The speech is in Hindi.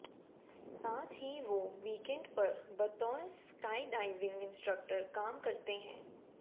साथ ही वो वीकेंड पर बतौर स्काइडाइविंग इंस्ट्रक्टर काम करते हैं